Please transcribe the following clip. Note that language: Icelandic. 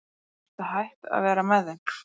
Ertu hætt að vera með þeim?